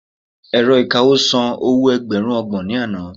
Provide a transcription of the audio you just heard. ẹ̀rọ ìkawó san owo ẹgbẹrun ọgbọ̀n ni Ana